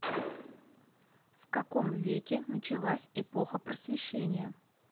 в каком веке началась эпоха просвещения